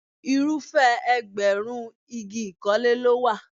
Irúfẹ́ ẹgbẹ̀rún igi ìkọ́lé ló wà.